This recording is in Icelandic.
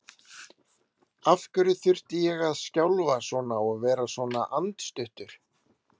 Af hverju þurfti ég að skjálfa svona og vera svona andstuttur?